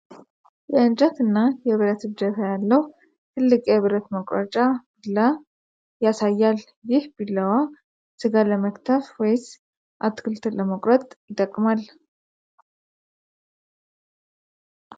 የእንጨት እና የብረት እጀታ ያለው ትልቅ የብረት መቁረጫ ቢላ ያሳያል ። ይህ ቢላዋ ስጋ ለመክተፍ ወይስ አትክልት ለመቁረጥ ይጠቅማል ?